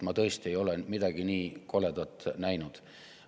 Ma tõesti ei ole midagi nii koledat näinud.